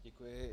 Děkuji.